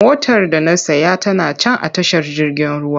Motar da na saya tana can a tashar jirgin ruwa.